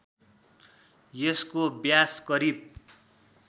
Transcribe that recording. यसको व्यास करिब